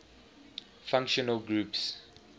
functional groups